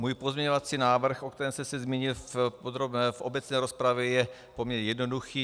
Můj pozměňovací návrh, o kterém jsem se zmínil v obecné rozpravě, je poměrně jednoduchý.